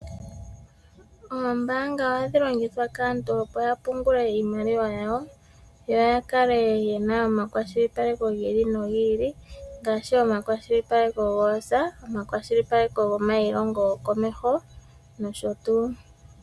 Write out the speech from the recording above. Oombaanga ohadhi longithwa kaantu opo yapungule iimaliwa yawo, yo yakale yena omakwashili paleko gi ili nogi ili ngaashi omakwashilipaleko goosa, omakwashilipaleko gomayilongo gokomeho nosho tuu.